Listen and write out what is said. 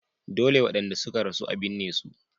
Dole wadanda suka rasu za a binne su.